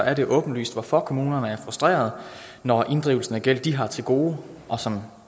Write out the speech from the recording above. er det åbenlyst hvorfor kommunerne er frustrerede når inddrivelsen af gæld de har til gode og som